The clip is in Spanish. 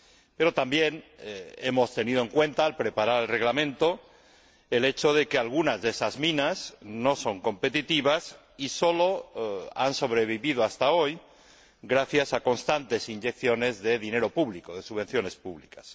Pero también hemos tenido en cuenta, al preparar el Reglamento, el hecho de que algunas de esas minas no son competitivas y sólo han sobrevivido, hasta hoy, gracias a constantes inyecciones de dinero público, de subvenciones públicas.